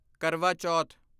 ਕਰਵਾ ਚੌਥ